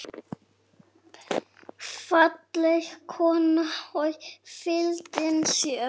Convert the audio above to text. Falleg kona og fylgin sér.